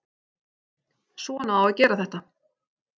Svona á að gera þetta